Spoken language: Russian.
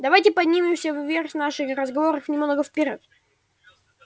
давайте поднимемся вверх в наших разговорах немного вперёд